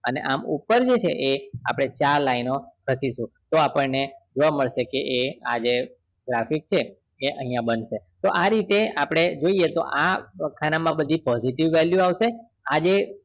અને આમ ઉપર જે એ છે આપણે ચાર line ઓ લખીશું તો એને જોવા મળશે કે આ જે graphic છે એ અહિયાં બનશે આ રીતે આપણે જોઈએ કે આ ખાના માં બધી positive value આવશે આજે